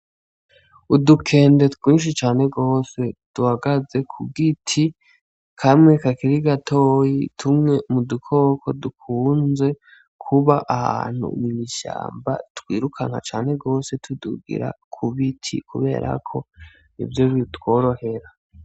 Udukende twinshi cane rwose duhagaze kugo iti kame kakirigatoyi tumwe mu dukoko dukunze kuba ahantu umunishamba twirukana cane rwose tudugira kubo iti kuberako ivyo bibitworohera.